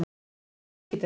Erum við rík í dag?